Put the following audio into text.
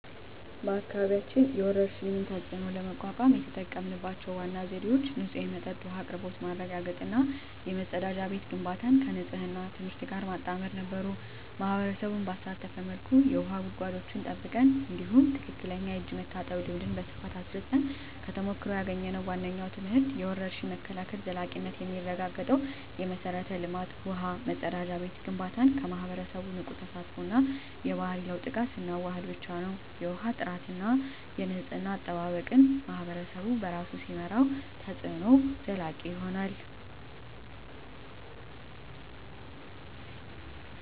በአካባቢያችን የወረርሽኝን ተፅዕኖ ለመቋቋም የተጠቀምንባቸው ዋና ዘዴዎች ንጹህ የመጠጥ ውሃ አቅርቦት ማረጋገጥ እና የመጸዳጃ ቤት ግንባታን ከንፅህና ትምህርት ጋር ማጣመር ነበሩ። ማኅበረሰቡን ባሳተፈ መልኩ የውሃ ጉድጓዶችን ጠብቀን፣ እንዲሁም ትክክለኛ የእጅ መታጠብ ልምድን በስፋት አስረፅን። ከተሞክሮ ያገኘነው ዋነኛው ትምህርት የወረርሽኝ መከላከል ዘላቂነት የሚረጋገጠው የመሠረተ ልማት (ውሃ፣ መጸዳጃ ቤት) ግንባታን ከማኅበረሰቡ ንቁ ተሳትፎ እና የባህሪ ለውጥ ጋር ስናዋህድ ብቻ ነው። የውሃ ጥራትና የንፅህና አጠባበቅን ማኅበረሰቡ በራሱ ሲመራው፣ ተፅዕኖው ዘላቂ ይሆናል።